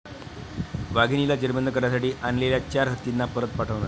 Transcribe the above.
वाघिणीला जेरबंद करण्यासाठी आणलेल्या चार हत्तींना परत पाठवणार